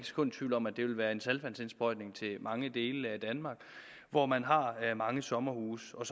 sekund i tvivl om at det vil være en saltvandsindsprøjtning til mange dele af danmark hvor man har mange sommerhuse og